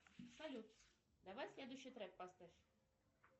салют давай следующий трек поставь